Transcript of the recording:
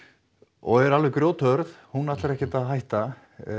og er alveg grjóthörð hún ætlar ekkert að hætta